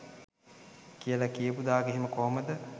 කියල කියපු දාක "එහෙම කොහොමද?